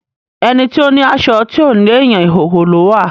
Ẹni tó láṣọ tí ò léèyàn, ìhòhò ló wà.